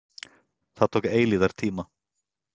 Það tók eilífðartíma.